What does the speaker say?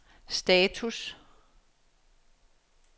status